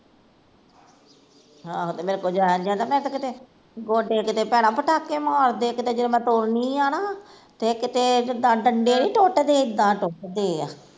ਆਹੋ ਤੇ ਮੇਰੇ ਕੋਲੋਂ ਤੇ ਜਾਇਆ ਨੀ ਜਾਂਦਾ ਤੇ ਮੈਂ ਤੇ ਕਿਤੇ, ਗੋਡੇ ਕਿਤੇ ਭੈਣਾਂ ਪਟਾਕੇ ਮਾਰਦੇ ਕਿਤੇ ਜਦੋਂ ਮੈਂ ਤੁਰਦੀ ਐ ਨਾ ਤੇ ਕਿਤੇ ਜਿਦਾ ਡੰਡੇ ਨੀ ਟੁੱਟਦੇ ਏਦਾਂ ਟੁੱਟਦੇ ਆ